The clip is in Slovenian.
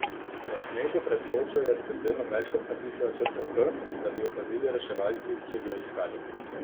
Na snegu pred kočo je s pepelom večkrat napisala črko H, da bi jo opazili reševalci, če bi jo iskali.